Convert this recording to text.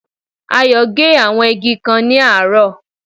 Ayò gé àwọn igi kan ní àárò